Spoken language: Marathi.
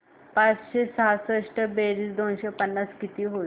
पाचशे सहासष्ट बेरीज दोनशे पन्नास किती होईल